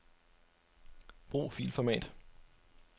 Brug filformat.